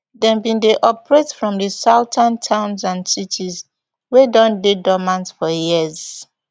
dem bin dey operate from di southern towns and cities wey don dey dormant for years